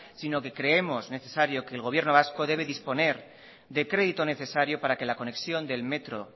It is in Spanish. sino que creemos necesario que el gobierno vasco debe disponer de crédito necesario para que la conexión del metro